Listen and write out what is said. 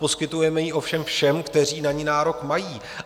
Poskytujeme ji ovšem všem, kteří na ni nárok mají.